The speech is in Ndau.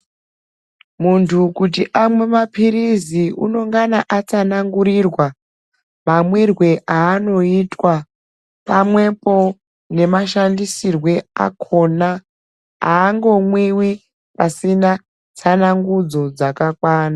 Muntu kuti amwe mapirisi unongana atsanangurirwa mamwirwe aanoitwa pamwepo nemashandisirwe akona, haangomwiwi pasina tsanangudzo dzakakwana.